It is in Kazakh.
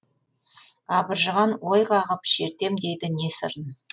абыржыған ой қағып шертем дейді не сырын